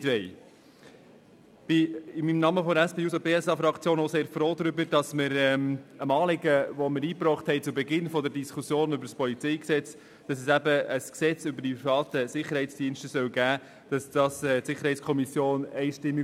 Ich bin im Namen der SP-JUSO-PSA-Fraktion auch sehr froh darüber, dass die SiK einstimmig das Anliegen, das wir zu Beginn der Diskussion über das PolG eingebracht hatten, unterstützt hat, nämlich dass es ein Gesetz über die privaten Sicherheitsdienste geben soll.